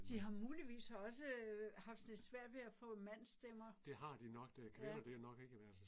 De har muligvis også haft sådan lidt svært ved at få mandsstemmer. Ja